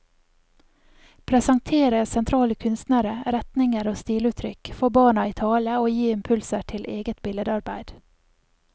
Presentere sentrale kunstnere, retninger og stiluttrykk, få barna i tale og gi impulser til eget billedarbeid.